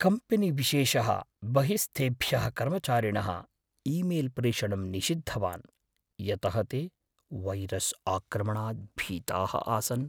कम्पेनीविशेषः बहिःस्थेभ्यः कर्मचारिणः ईमेल्प्रेषणं निषिद्धवान्, यतः ते वैरस्आक्रमणात् भीताः आसन्।